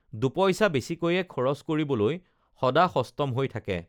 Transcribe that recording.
দুপইচা বেছিকৈয়ে খৰছ কৰিবলৈ সদা সষ্টম হৈ থাকে